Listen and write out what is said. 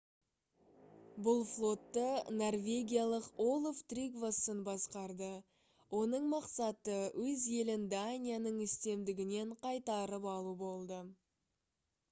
бұл флотты норвегиялық олаф тригвассон басқарды оның мақсаты өз елін данияның үстемдігінен қайтарып алу болды